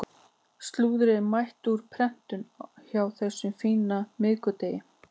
Slúðrið er mætt úr prentun á þessum fína miðvikudegi.